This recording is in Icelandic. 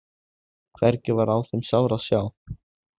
Hvergi var á þeim sár að sjá.